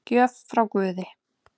Gjöf frá guði